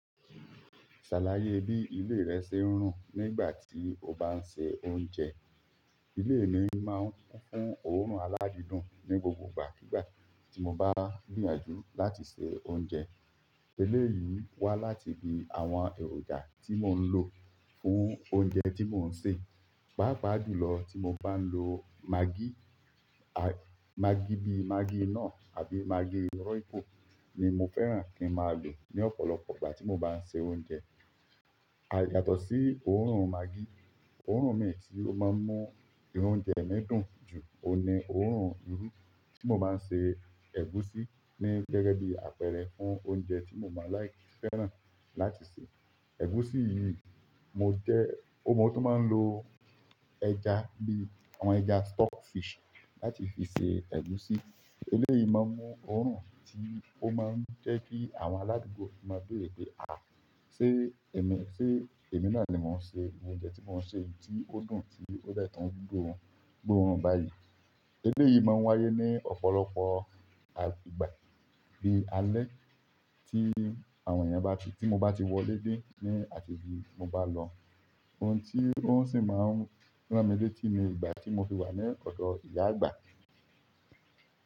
Ṣàlàyé bí ilé rẹ ṣe ń rùn nígbà tí o bá ń se oúnjẹ. Ilé mí máa kún fún oorun àlá dídùn ni gbogbo ìgbà kìí gbà ti mó gbìyànjú láti ṣe oúnjẹ eléyìí wá láti bí àwọn èròjà tí mò ń lò fún oúnjẹ tí mò ń sè. Paapa jú lọ tí mo bá ń lo maggi, maggi bí maggi nọ àbí maggi RoyCo ni mo fẹ́ràn kí a máa lò ní ọ̀pọ̀lọpọ̀ ìgbà tí mo bá ń se oúnjẹ. Yàtọ̀ sí òórùn maggi, òórùn mìíràn tí ó máa ń mú oúnjẹ mi dùn jù oun ni òórùn irú tí mo máa ń ṣe ẹ̀gúsí ní gẹ́gẹ́ bí apẹ̀rẹ̀ fún oúnjẹ tí mo máa like, fẹ́ràn láti sè. Ẹ̀gúsí yìí mo jẹ́, mo tún máa ń lo ẹja bí àwọn ẹja stock fish láti fi sè ẹ̀gúsí. Eléyìí máa ń mú òórùn tí ó máa ń jẹ́ kí àwọn aládùúgbò máa béèrè pé "à, ṣe èmi, ṣe èmi náà ni mò ń ṣe oúnjẹ tí mò ń sè yìí tí ó dùn tí ó dẹ́ tun gbóórùn, gbóórùn báyìí?" eleyii máa n wáyé ni ọ̀pọ̀lọpọ̀ ìgbà bi alẹ́ ti mó ba tí wọlé dé ni àti ibí ti mó bá lọ. Ohun tí ó sì máa ń rán mi létí ni ìgbà tí mo fi wà ní ọ̀dọ̀ ìyá àgbà.